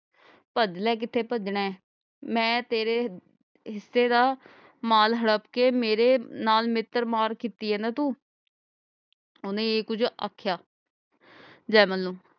ਭੱਜ ਲੈ ਕਿਥੇ ਭਜਨਾ ਹੈ ਮੈਂ ਤੇਰੇ ਹਿਸੇ ਦਾ ਮਾਲ ਹੜਪ ਕੇ ਮੇਰੇ ਨਾਲ ਮਿੱਤਰ ਮਾਰ ਕੀਤੀ ਹੈ ਨਾ ਤੂੰ। ਓਹਨੇ ਇਹ ਕੁਜ ਆਖਿਆ ਜੈਮਲ ਨੂੰ